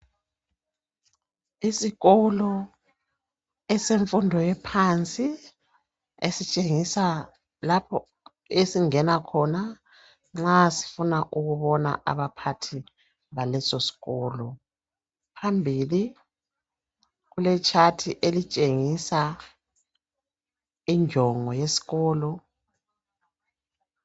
Isikolo semfundo ephansi esitshengisa lapho esingena khona nxa sifuna ukubona abaphathi besikolo. Phambili kulegwaliba elitshengisa injongo yesikolo.